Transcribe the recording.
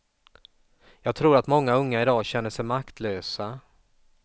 Jag tror att många unga idag känner sig maktlösa.